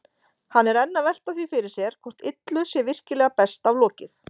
Hann er enn að velta því fyrir sér hvort illu sé virkilega best aflokið.